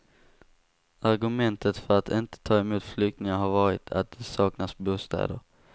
Argumentet för att inte ta emot flyktingar har varit att det saknas bostäder.